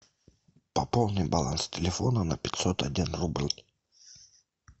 пополни баланс телефона на пятьсот один рубль